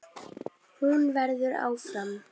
Hún verður áfram.